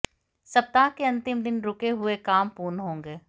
सप्ताह के अंतिम दिन रुके हुए काम पूर्ण होंगे